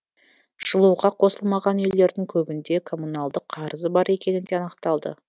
жылуға қосылмаған үйлердің көбінде коммуналдық қарызы бар екені де анықталды